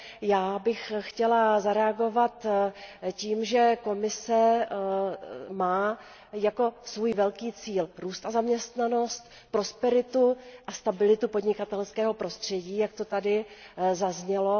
Já bych chtěla zareagovat tím, že Komise má jako svůj velký cíl růst a zaměstnanost, prosperitu a stabilitu podnikatelského prostředí, jak to tady zaznělo.